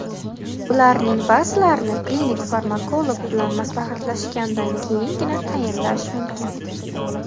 Ularning ba’zilarini klinik farmakolog bilan maslahatlashgandan keyingina tayinlash mumkin.